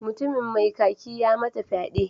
Mutumin mai kaki ya mata fyade.